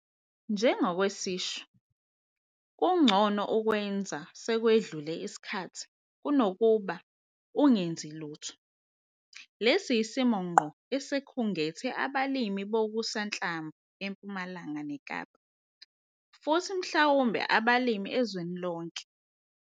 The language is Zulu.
NJENGOKWESISHO, KUNGCONO UKWENZA NOMA SEKWEDLULE ISIKHATHI KUNOKUBA UNGENZI LUTHO! LESI YISIMO NGQO ESIKHUNGETHE ABALIMI BOKUSANHLAMVU EMPUMALANGA NEKAPA, FUTHI MHLAWUMBE ABALIMI EZWENI LONKE.